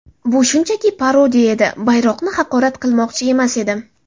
Bu shunchaki parodiya edi, bayroqni haqorat qilmoqchi emas edim.